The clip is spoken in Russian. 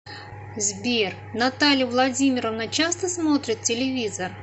сбер наталья владимировна часто смотрит телевизор